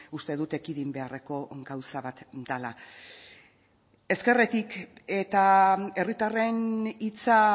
uste dut ekidin beharreko gauza bat dela ezkerretik eta herritarren hitza